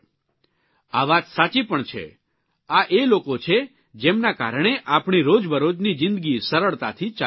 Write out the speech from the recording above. આ વાત સાચી પણ છે આ એ લોકો છે જેમના કારણે આપણી રોજબરોજની જીંદગી સરળતાથી ચાલતી રહે છે